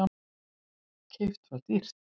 Keypt það dýrt.